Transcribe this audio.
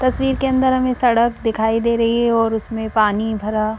तस्वीर के अंदर हमें सड़क दिखाई दे रही है और उसमें पानी भरा।